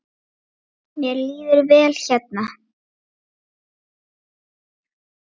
Mér líður vel hérna.